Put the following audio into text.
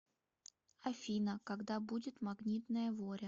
афина когда будет магнитная воря